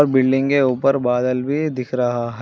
Building के ऊपर बादल भी दिख रहा है।